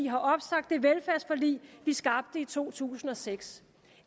har opsagt det velfærdsforlig vi skabte i to tusind og seks